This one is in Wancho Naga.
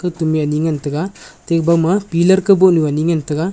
tumi ani ngan taiga teba ma pillar kaboh nu ani ngan taiga.